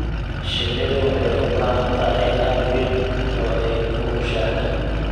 Shinnidu waxay u baahan tahay aag weyn oo ay ku mushaaxdo.